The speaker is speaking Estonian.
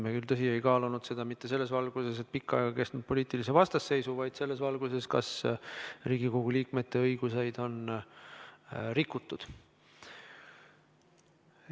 Me küll, tõsi, ei kaalunud seda selles valguses, et tegemist oleks pikka aega kestnud poliitilise vastasseisuga, vaid selles valguses, kas Riigikogu liikmete õigusi on rikutud.